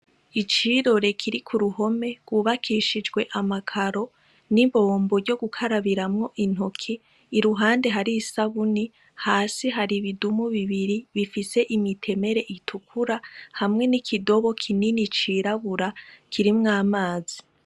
Icirore kiri ku ruhome rubakishijwe amakaro n'imbombo ryo gukarabiramwo intoki i ruhande hari isabuni hasi hari ibidumu bibiri bifise imitemere itukura hamwe n'ikidobo kinini cirabura kirimwo amazi.